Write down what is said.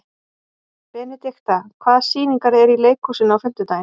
Benidikta, hvaða sýningar eru í leikhúsinu á fimmtudaginn?